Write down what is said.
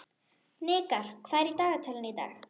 Hnikar, hvað er í dagatalinu í dag?